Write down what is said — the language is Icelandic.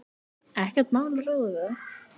Ekkert mál að ráða við það.